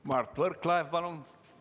Mart Võrklaev, palun!